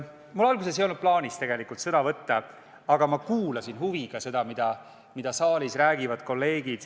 Mul alguses ei olnud tegelikult plaanis sõna võtta, aga ma kuulasin huviga, mida kolleegid saalis räägivad.